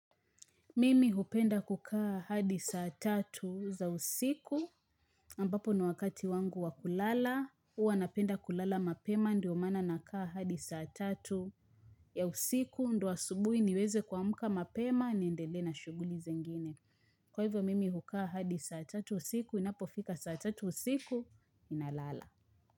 Mimi hupenda kukaa hadi saa tatu za usiku, ambapo ni wakati wangu wa kulala, huwa napenda kulala mapema ndio mana na kaa hadi saa tatu ya usiku ndio asubuhi niweze kuamuka mapema niendelee na shuguli zingine. Kwa hivyo, mimi hukaa hadi saa tatu usiku, inapo fika saa tatu usiku, ninalala.